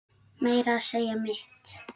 Meira að segja mitt